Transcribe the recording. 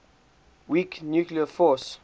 weak nuclear force